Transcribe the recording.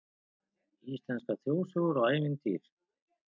Íslenskar þjóðsögur og ævintýr